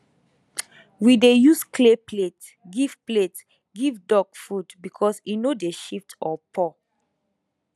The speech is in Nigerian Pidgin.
we dey use clay plate give plate give duck food because e no dey shift or pour